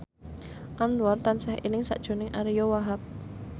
Anwar tansah eling sakjroning Ariyo Wahab